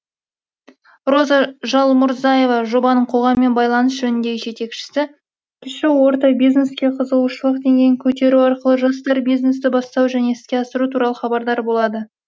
роза жалмұрзаева жобаның қоғаммен байланыс жөніндегі жетекшісі кіші орта бизнеске қызығушылық деңгейін көтеру арқылы жастар бизнесті бастау және іске асыру туралы хабардар болады